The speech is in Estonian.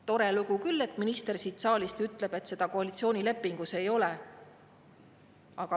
Tore lugu küll, et minister siin saalis ütleb, et seda koalitsioonilepingus ei ole.